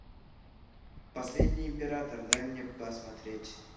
последний император дай мне посмотреть